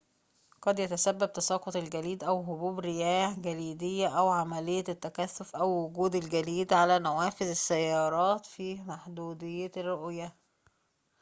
قد يتسبب تساقط الجليد أو هبوب رياح جليدية أو عملية التكثّفِ أو وجودِ الجليد على نوافذ السيارات في محدودية الرؤية